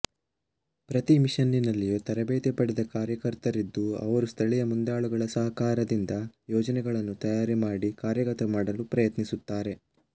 ಪ್ರತಿ ಮಿಷನ್ನಿನಲ್ಲಿಯೂ ತರಬೇತಿ ಪಡೆದ ಕಾರ್ಯಕರ್ತರಿದ್ದು ಅವರು ಸ್ಥಳೀಯ ಮುಂದಾಳುಗಳ ಸಹಕಾರದಿಂದ ಯೋಜನೆಗಳನ್ನು ತಯಾರು ಮಾಡಿ ಕಾರ್ಯಗತ ಮಾಡಲು ಪ್ರಯತ್ನಿಸುತ್ತಾರೆ